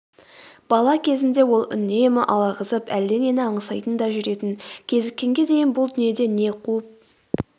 бала кезінде ол үнемі алағызып әлденені аңсайтын да жүретін кезіккенге дейін бұл дүниеде не қуып